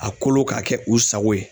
A kolo ka kɛ u sago ye.